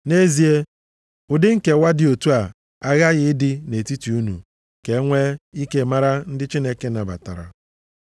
Nʼezie ụdị nkewa dị otu a aghaghị ịdị nʼetiti unu ka e nwee ike mara ndị Chineke nabatara.